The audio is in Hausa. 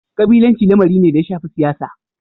Kabilanci lamari ne da ya shafi siyasa.